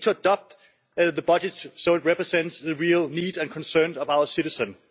We need to adopt the budget so it represents the real needs and concerns of our citizens.